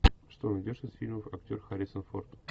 что найдешь из фильмов актер харрисон форд